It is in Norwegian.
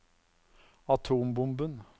atombomben